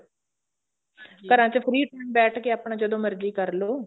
ਘਰਾਂ ਵਿੱਚ free time ਬੈਠ ਕੇ ਆਪਣਾ ਜਦੋਂ ਮਰਜੀ ਕਰਲੋ